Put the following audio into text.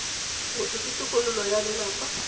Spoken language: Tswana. motho ke tokololo ya lelapa